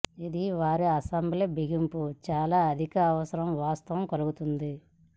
ఇది వారి అసెంబ్లీ బిగింపు చాలా అధిక అవసరం వాస్తవం కలుగుతుంది